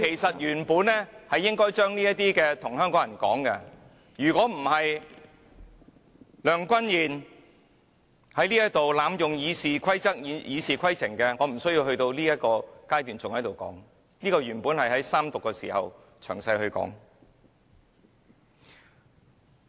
我原本就應該將這些話說給香港人知道，如果不是梁君彥在這裏濫用《議事規則》，我也無須在這個階段說這些話，這些原本應該是在三讀時詳細論述的。